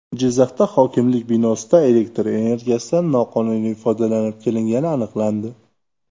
Jizzaxda hokimlik binosida elektr energiyasidan noqonuniy foydalanib kelingani aniqlandi.